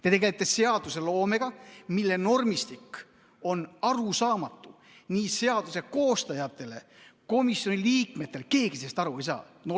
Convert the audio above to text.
Te tegelete seadusloomega, mille normistik on arusaamatu nii seaduse koostajatele kui ka komisjoni liikmetele, keegi sellest aru ei saa.